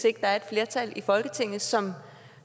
ikke er et flertal i folketinget som